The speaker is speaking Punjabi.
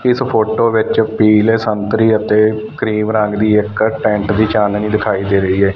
ਇੱਸ ਫ਼ੋਟੋ ਵਿੱਚ ਪੀਲੇ ਸੰਤਰੀ ਅਤੇ ਕਰੀਮ ਰੰਗ ਦੀ ਇੱਕ ਟੈਂਟ ਦੀ ਚਾਂਦਨੀ ਦਿਖਾਈ ਦੇ ਰਹੀ ਹੈ।